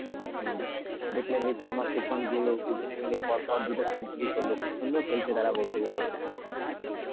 হম, দেখলে Rohit Sharma দুজনে মিলেই পরপর দুটো century করলো. খুব সুন্দর খেলছে তারা বলতে গেলে.